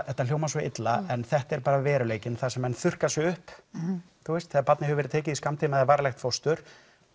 þetta hljóma svo illa en þetta er bara veruleikinn þar sem menn þurrka sig upp þegar barnið hefur verið tekið í skammtíma eða varanlegt fóstur